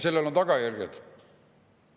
Sellel on tagajärjed.